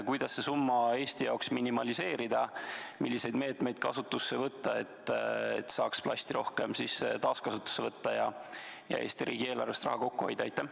Kuidas seda summat Eesti jaoks minimeerida, milliseid meetmeid võtta, et saaks plasti rohkem taaskasutusse võtta ja Eesti riigieelarves raha kokku hoida?